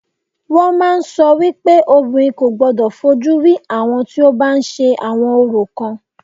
Wọ́n màá ń sọ wípé obìnrin kò gbodò fojú rí àwọn tí o bá ń ṣe àwọn orò kan.